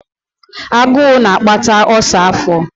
Agụụ na-akpata ulcer afọ.